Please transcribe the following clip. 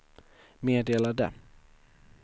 meddelade